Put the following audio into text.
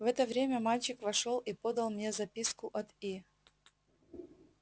в это время мальчик вошёл и подал мне записку от и